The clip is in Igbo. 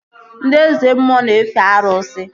Ndị Eze mmụọ na-efe arụsị